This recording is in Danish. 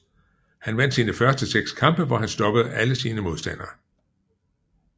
Han vandt sine første 6 kampe hvor han stoppede alle sine modstandere